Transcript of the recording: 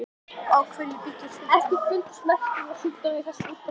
EKKI FUNDUST MERKI UM SMITSJÚKDÓMA Í ÞESSU ÚRTAKI.